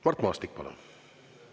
Mart Maastik, palun!